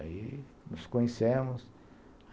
Aí nos conhecemos.